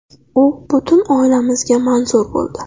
U butun oilamizga manzur bo‘ldi.